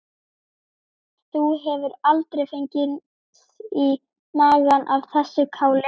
Þú hefur aldrei fengið í magann af þessu káli?